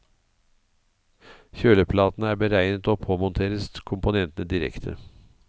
Kjøleplatene er beregnet å påmonteres komponentene direkte.